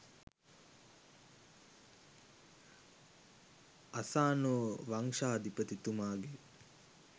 Asano වංශාධිපති තුමාගේ